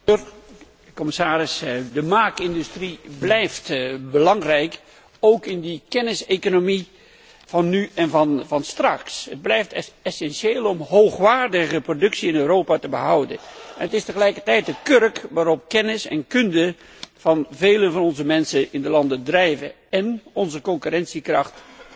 Voorzitter, commissaris, de maakindustrie blijft belangrijk, ook in de kenniseconomie van nu en van straks. Het blijft essentieel om hoogwaardige productie in Europa te behouden en deze is tegelijkertijd de kurk waarop kennis en kunde van velen in onze landen drijven en onze concurrentiekracht